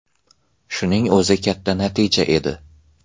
Shuning o‘zi katta natija edi.